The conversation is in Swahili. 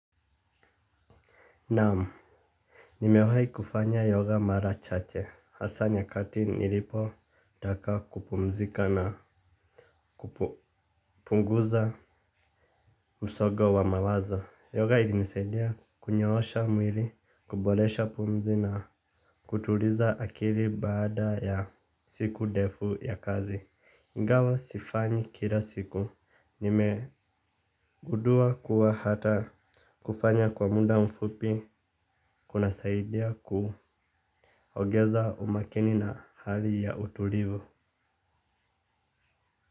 Nam, nimewahi kufanya yoga mara chache. Hasa nyakati nilipo taka kupumzika na kupunguza usogo wa mawazo. Yoga ili nisaidia kunyoosha mwili, kuboresha pumzi na kutuliza akili baada ya siku ndefu ya kazi. Ingawa sifanyi kila siku. Nimegundua kuwa hata kufanya kwa muda mfupi, kuna saidia kuongeza umakini. Na hali ya utulivu.